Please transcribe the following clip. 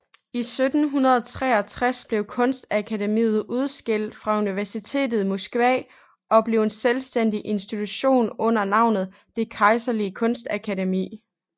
I 1763 blev kunstakademiet udskilt fra universitetet i Moskva og blev en selvstændig institution under navnet Det Kejserlige Kunstakademi